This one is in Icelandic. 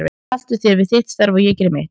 Haltu þér við þitt starf og ég geri mitt.